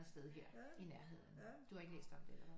Sted her i nærheden du har ikke læst om det eller hvad